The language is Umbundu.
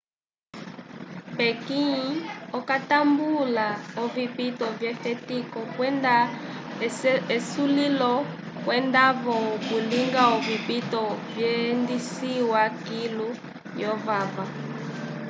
pequim okatambula ovipito vyefetiko kwenda esulilo kwenda-vo okulinga ovipito vyendisiwa kilu lyovava